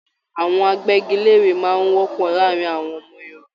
Àwọn àgbẹgilère máa n wọpọ láàrín àwọn ọmọ Yorùbá.